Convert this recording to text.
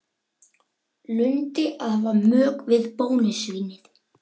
Heilladrýgra væri að smjúga inn í bæjarbraginn með öðrum hætti.